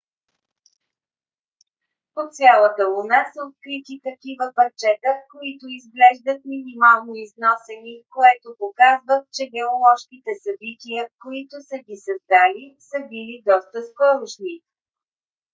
по цялата луна са открити такива парчета които изглеждат минимално износени което показва че геоложките събития които са ги създали са били доста скорошни